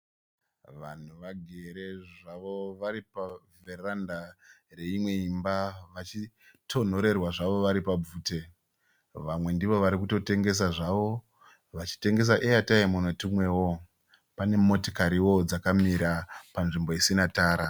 Vanhu vagerezve zvavo vari pavheranda reimwe imba vachitonhorerwa zvavo vari pabvute. Vamwe ndivo varikutotengesa zvavo vachitengesa airtime netumwewo. Pane motokariwo dzakamira panzvimbo isina tara.